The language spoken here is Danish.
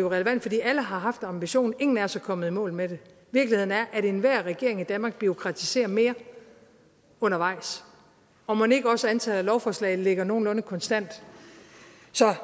jo relevant fordi alle har haft ambitionen ingen af os er kommet i mål med det virkeligheden er at enhver regering i danmark bureaukratiserer mere undervejs og mon ikke også antallet af lovforslag ligger nogenlunde konstant så